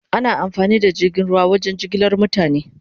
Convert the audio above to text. Ana amfani da jirgin ruwa wajen jigilar mutane